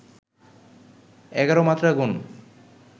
এগারো মাত্রা গোন